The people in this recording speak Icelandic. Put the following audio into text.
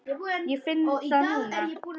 Ég finn það núna.